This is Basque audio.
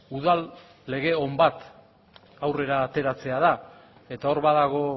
udal lege on bat aurrera ateratzea da eta hor badago